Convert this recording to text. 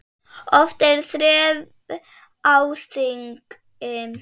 Oft er þref á þingi.